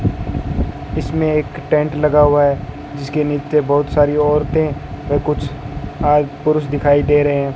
इसमें एक टेंट लगा हुआ है जिसके नीच बहुत सारी औरतें व कुछ आई पुरुष दिखाई दे रहे है।